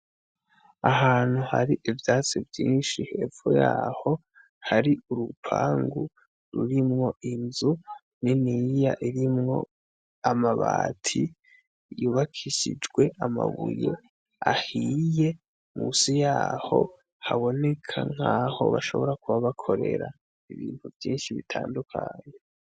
Ahantu har'ivyatsi vyinshi, hepfo yaho har 'urupangu rurimw'inzu niniya irimwo amabati ,yubakishijwe amabuye ahiye musi yaho haboneka nkaho bashobora kuba bakorera ibintu vyinshi bitandukanye.